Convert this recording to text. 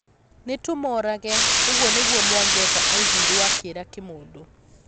Nĩtũmoorage,' ũguo nĩguo Mwangeka aigwĩrwo akĩera Kĩmũndũ.